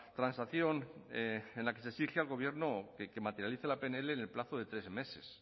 transacción en la que se exige al gobierno que materialice la pnl en el plazo de tres meses